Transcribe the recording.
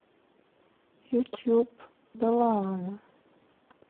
ютуб далаана